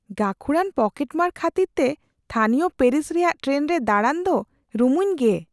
ᱜᱟᱹᱠᱷᱩᱲᱟᱱ ᱯᱚᱠᱮᱴᱢᱟᱨ ᱠᱷᱟᱹᱛᱤᱨᱛᱮ ᱛᱷᱟᱹᱱᱤᱭᱚ ᱯᱮᱨᱤᱥ ᱨᱮᱭᱟᱜ ᱴᱨᱮᱱ ᱨᱮ ᱫᱟᱲᱟᱱ ᱫᱚ ᱨᱩᱢᱩᱧ ᱜᱮ ᱾